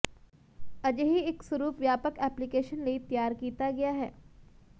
ਅਜਿਹੀ ਇੱਕ ਸਰੂਪ ਵਿਆਪਕ ਐਪਲੀਕੇਸ਼ਨ ਲਈ ਤਿਆਰ ਕੀਤਾ ਗਿਆ ਹੈ